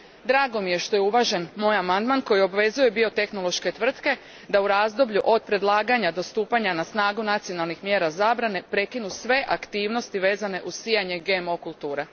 Drago mi je što je uvažen moj amandman koji obvezuje biotehnološke tvrtke da, u razdoblju od predlaganja do stupanja na snagu nacionalnih mjera zabrane, prekinu sve aktivnosti vezane uz sijanje GMO kultura.